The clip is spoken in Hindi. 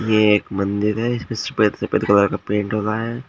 ये एक मंदिर है इसपे सफेद सफेद कलर का पेंट हो रहा है।